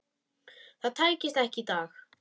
Það tækist ekki í dag.